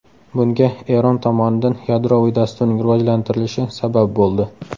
Bunga Eron tomonidan yadroviy dasturning rivojlantirilishi sabab bo‘ldi.